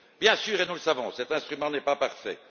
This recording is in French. Bien sûr et nous le savons cet instrument n'est pas parfait.